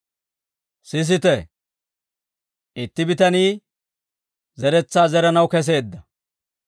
«Sisite; itti bitanii zeretsaa zeranaw keseedda.